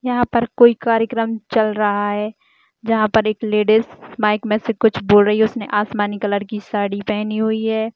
यहाँ पर कोई कार्यक्रम चल रहा है जहां पर एक लेडीस माइक मे से कुछ बोल रही हैं उसने आसमानी कलर की साड़ी पहनी हुई है।